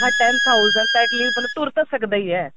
ਆਹ ten thousand ਤਾਂ at least ਬੰਦਾ ਤੁਰ ਤਾਂ ਸਕਦਾ ਈ ਏ